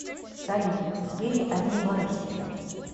салют в сбере одни воры сидят